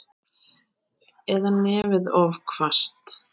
Eða nefið of hvasst.